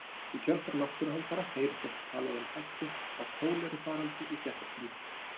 Í kjölfar náttúruhamfara heyrist oft talað um hættu á kólerufaraldri í fréttatímum.